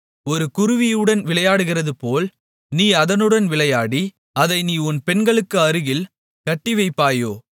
ஒரு குருவியுடன் விளையாடுகிறதுபோல் நீ அதனுடன் விளையாடி அதை நீ உன் பெண்களுக்கு அருகில் கட்டிவைப்பாயோ